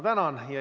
Tänan!